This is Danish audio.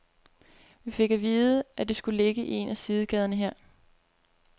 Vi fik at vide, at det skulle ligge i en af sidegaderne her.